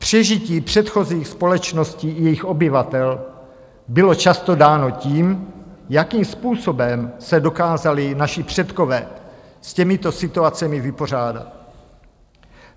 Přežití předchozích společností i jejich obyvatel bylo často dáno tím, jakým způsobem se dokázali naši předkové s těmito situacemi vypořádat.